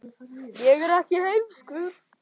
Áttu marga gítara?